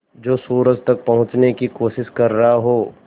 जो सूरज तक पहुँचने की कोशिश कर रहा हो